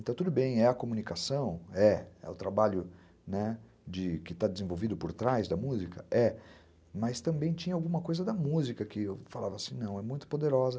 Então tudo bem, é a comunicação, é o trabalho, né, que está desenvolvido por trás da música, é. Mas também tinha alguma coisa da música que eu falava assim, não, é muito poderosa.